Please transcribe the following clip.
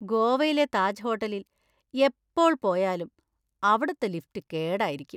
ഗോവയിലെ താജ് ഹോട്ടലിൽ എപ്പോൾ പോയാലും അവിടുത്തെ ലിഫ്റ്റ് കേടായിരിക്കും.